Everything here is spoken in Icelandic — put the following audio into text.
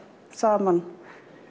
saman